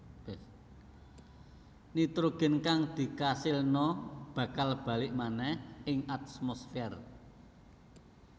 Nitrogén kang dikasilna bakal balik manèh ing atmosfér